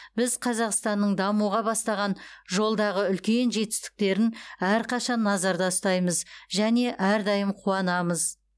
біз қазақстанның дамуға бастаған жолдағы үлкен жетістіктерін әрқашан назарда ұстаймыз және әрдайым қуанамыз